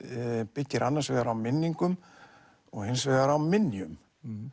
byggir annars vegar á minningum og hins vegar á minjum